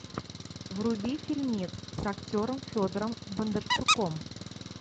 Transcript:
вруби фильмец с актером федором бондарчуком